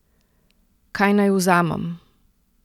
Kaj naj vzamem?